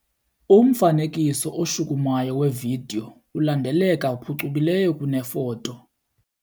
Umfanekiso oshukumayo wevidiyo ulandeleka phucukileyo kunefoto.